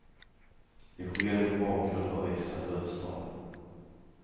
Det sker mot bakgrund av växande dödstal.